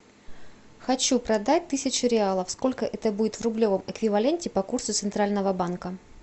хочу продать тысячу реалов сколько это будет в рублевом эквиваленте по курсу центрального банка